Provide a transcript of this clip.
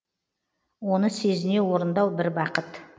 оны сезіне орындау бір бақыт